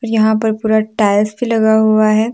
यहां पर पूरा टाइल्स भी लगा हुआ है।